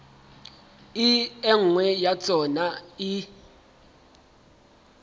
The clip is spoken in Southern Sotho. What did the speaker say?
e nngwe ya tsona e